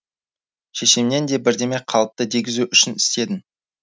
шешемнен де бірдеме қалыпты дегізу үшін істедім